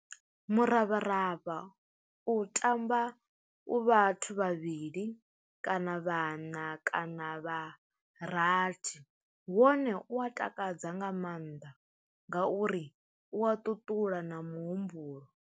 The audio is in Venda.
Muravharavha u tamba u vhathu vhavhili kana vhaṋa kana vha rathi, wone u a takadza nga maanḓa ngauri u a ṱuṱula na muhumbulo.